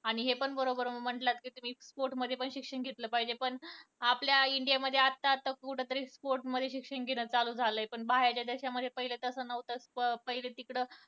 आणि हे पण बरोबर म्हंटलं कि sport मध्ये पण शिक्षण घेतलं पाहीजे पण आपल्या इंडिया मध्ये आता आता कुठं तरी sport मध्ये शिक्षण घेणं चालू झालंय. पण बाहेरच्या देशामध्ये पहिले तसं नव्हतं पहिलं तिकडं